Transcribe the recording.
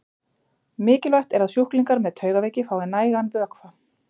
Mikilvægt er að sjúklingar með taugaveiki fái nægan vökva.